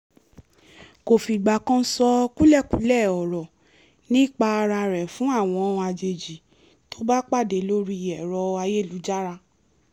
kò fìgbà kan sọ kúlẹ̀kúlẹ̀ ọ̀rọ̀ nípa ara rẹ̀ fún àwọn àjèjì tó bá pàdé lórí ẹ̀rọ ayélujára